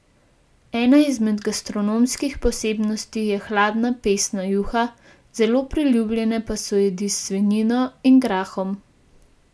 Ena izmed gastronomskih posebnosti je hladna pesna juha, zelo priljubljene pa so jedi s svinjino in grahom.